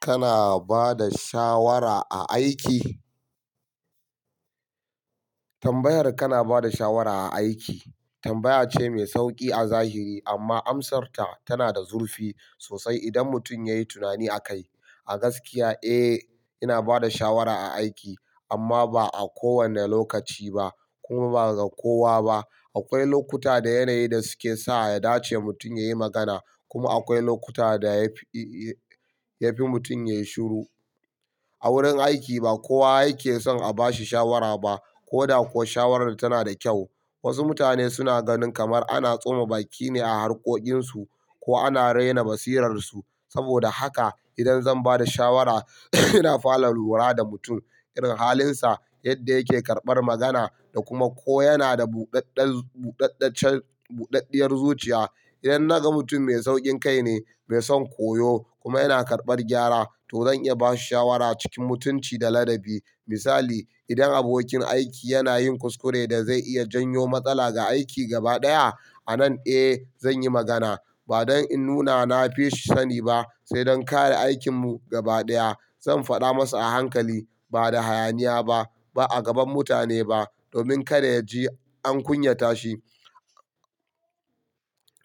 Kana bada shawara a aiki? Tambayar kana bada shawara a aiki tambaya ce mai sauki a zahiri amma amsarta tana da zurfi sosai idan mutum ya yi tunani akai. A gaskiya, eh, ina bada shawara a aiki amma ba a kowane lokaci ba kuma ba ga kowa ba. Akwai lokuta da yanayi da suke sa a dace mutum ya yi magana kuma akwai lokuta da ya fi-ya fi mutum ya yi shiru. A wurin aiki ba kowa yake son a bashi shawara ba ko da ko shawarar tana da kyau. Wasu mutane suna ganin kamar ana tsoma baki ne a harkokinsu ko ana rena basirarsu. Saboda haka idan zan bada shawara ina fara lura da mutum, irin halinsa, yadda yake karɓar magana da kuma ko yana da buɗaɗɗar-buɗaɗɗacen-buɗaɗɗiyar zuciya. Idan na ga mutum mai sauƙin kai ne, mai son koyo kuma yana karɓar gyara to zan iya bashi shawara cikin mutunci da ladabi. Misali, idan abokin aiki yana yin kuskure da zai iya janyo matsala ga aiki gaba ɗaya, a nan eh zan yi magana. Ba don in nuna na fi shi sani ba sai don kare aikinmu gaba ɗaya. Zan faɗa masa a hankali ba da hayaniya ba, ba a gaban mutane ba domin kada ya ji an kunyata shi.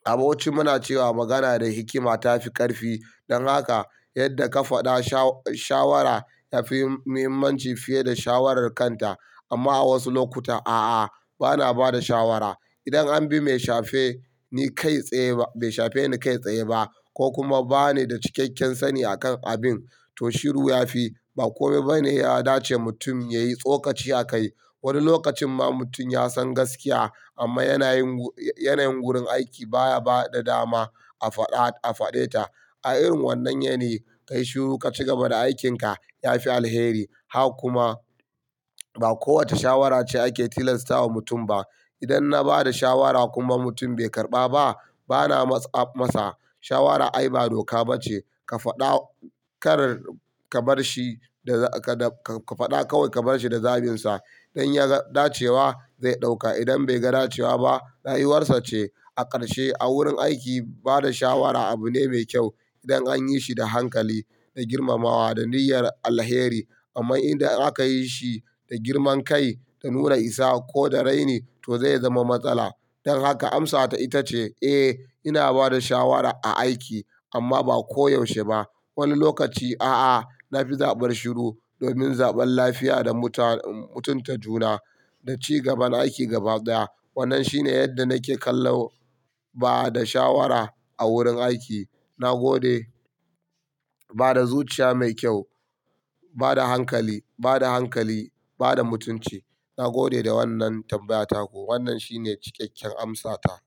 A bauchi muna cewa magana da hikima ta fi ƙarfi. Don haka yadda ka faɗa sha-shawara yafi muhimmanci fiye da shawarar kanta. Amma a wasu lokuta a'a bana bada shawara. Idan an bi mai shafe ni kai tsaye ba-- mai shafe ni kai tsaye ba ko kuma ba ni da cikakken sani akan abin, to shiru ya fi. Ba kome bane ya dace mutum ya yi tsokaci akai. Wani lokacin ma mutum ya san gaskiya amma yanayin wurin aiki baya bada dama a faɗa-a faɗe ta. A irin wannan yanayi ka yi shiru ka cigaba da aikinka ya fi alheri. Ha kuma ba kowace shawara ce ake tilastawa mutum ba. Idan na bada shawara kuma mutum bai karɓa ba bana matsa-matsa. Shawara ayba doka ba ce. Ka faɗa kar ka bar shi da ka-ka faɗa kawai ka bar shi da zabinsa don ya ga dace wa zai ɗauka. Idan bai ga dace wa ba rayuwarsa ce. A ƙarshe a wurin aiki bada shawara abu ne mai kyau idan an yi shi da hankali, da girmamawa, da niyyar alheri. Amma idan aka yi shi da girman kai, da nura isa ko da raini to zai zama matsala. Don haka amsata ita ce eh ina bada shawara a aiki amma ba koyaushe ba. Wani lokaci a'a na fi zaɓar shiru domin zaɓan lafiya da muta-mutunta juna da cigaban aiki gaba ɗaya. Wannan shine yadda nake kallo bada shawara a wurin aiki. Na gode bada zuciya mai kyau, bada hankali, bada hankali, bada mutunci. Na gode da wannan tambayata ko wannan shine cikakken amsata.